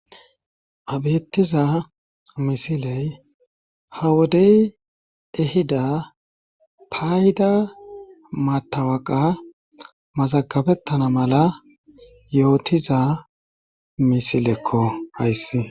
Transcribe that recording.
Ha beettiza misiley ha wodey ehida paayida maatawaqa mazagabettana mala yootiza misilekko hayssi